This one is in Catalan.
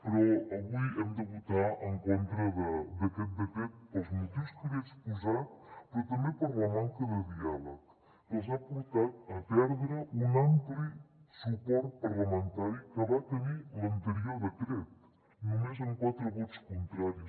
però avui hem de votar en contra d’aquest decret pels motius que li he exposat però també per la manca de diàleg que els ha portat a perdre un ampli suport parlamentari que va tenir l’anterior decret només amb quatre vots contraris